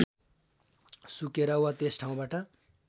सुकेर वा त्यस ठाउँबाट